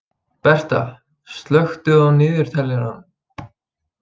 Berta, slökktu á niðurteljaranum.